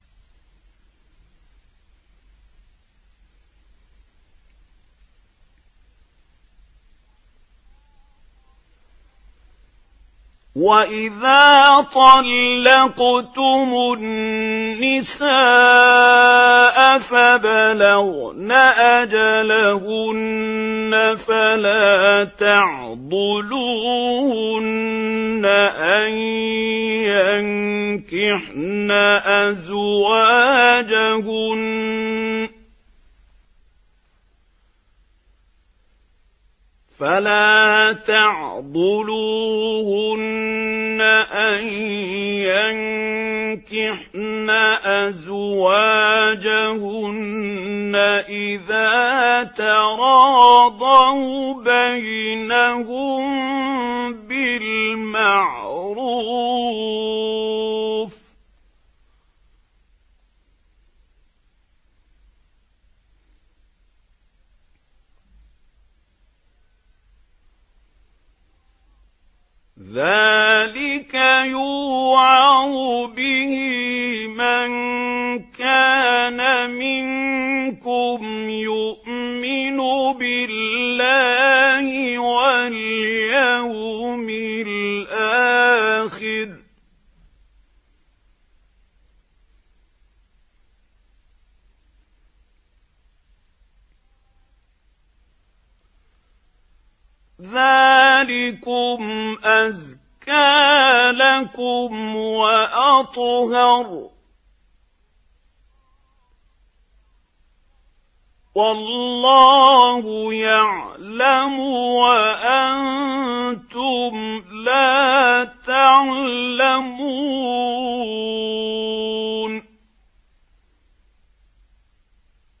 وَإِذَا طَلَّقْتُمُ النِّسَاءَ فَبَلَغْنَ أَجَلَهُنَّ فَلَا تَعْضُلُوهُنَّ أَن يَنكِحْنَ أَزْوَاجَهُنَّ إِذَا تَرَاضَوْا بَيْنَهُم بِالْمَعْرُوفِ ۗ ذَٰلِكَ يُوعَظُ بِهِ مَن كَانَ مِنكُمْ يُؤْمِنُ بِاللَّهِ وَالْيَوْمِ الْآخِرِ ۗ ذَٰلِكُمْ أَزْكَىٰ لَكُمْ وَأَطْهَرُ ۗ وَاللَّهُ يَعْلَمُ وَأَنتُمْ لَا تَعْلَمُونَ